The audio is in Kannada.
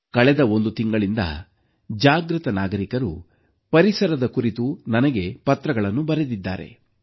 ಕಳೆದ ಒಂದು ತಿಂಗಳಿನಿಂದ ಜಾಗೃತ ನಾಗರಿಕರು ಪರಿಸರದ ಕುರಿತು ನನಗೆ ಪತ್ರಗಳನ್ನು ಬರೆದಿದ್ದಾರೆ